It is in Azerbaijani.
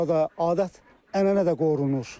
Burada adət-ənənə də qorunur.